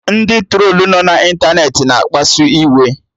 Ndị trolu nọ na ịntanetị na-akpasu iwe